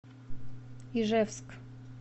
ижевск